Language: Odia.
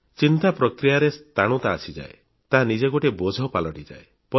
ଚିନ୍ତା ପ୍ରକ୍ରିୟାରେ ସ୍ଥାଣୁତା ଆସିଯାଏ ତାହା ନିଜେ ଗୋଟିଏ ବୋଝ ପାଲଟିଯାଏ